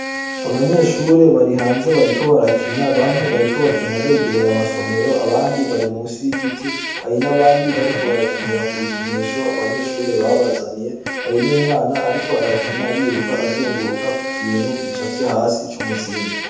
Abanyeahure bari hanze bariko barakina bamwe bariko barakina begereye amasomero, abandi bari musi y’igiti, hari n’abandi bariko barakinira kubikinisho abanyeshure babazaniye hari numwana ariko arakina yiruka, azunguruka kukintu gicapfye hasi c’umuzingi.